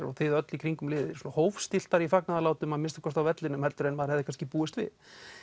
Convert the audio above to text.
og þið öll í kringum liðið svo hófstilltari í fagnaðarlátum að minnsta kosti á vellinum heldur en maður hefði kannski búist við